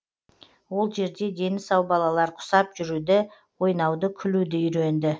ол жерде дені сау балалар құсап жүруді ойнауды күлуді үйренді